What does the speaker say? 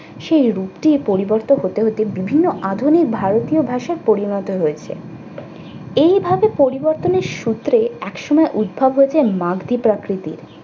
সেই রূপটি পরিবর্তন হতে হতে বিভিন্ন আধুনিক ভারতীয় ভাষায় পরিণত হয়েছে। এইভাবে পরিবর্তনের সূত্রে একসময় উদ্ভব হয়েছে মারধী প্রাকৃতিক।